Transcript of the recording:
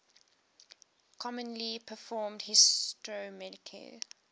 commonly performed histochemical